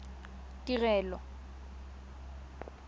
tirelo